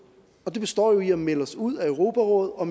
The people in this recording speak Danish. og den består i at melde sig ud af europarådet og